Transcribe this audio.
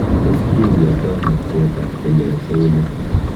Tos kindiotono pcheetab kelyek ak eunek?